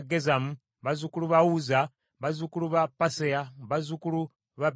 bazzukulu ba Uzza, bazzukulu ba Paseya, bazzukulu ba Besayi,